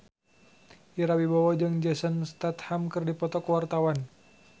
Ira Wibowo jeung Jason Statham keur dipoto ku wartawan